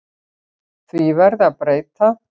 Því verði að breyta.